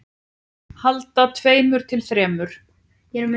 Handa tveimur til þremur